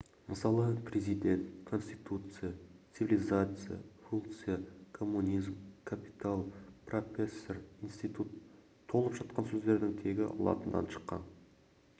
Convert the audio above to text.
мысалы президент конституция цивилизация функция коммунизм капитал профессор институт толып жатқан сөздердің тегі латыннан шыққан